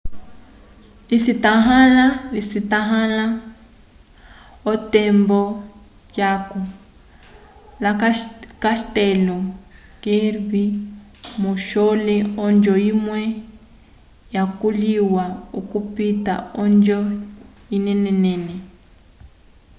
lisetãhala otembo yaco castelo kirby muxloe onjo imwe yakoliwa okupita onjo inenenene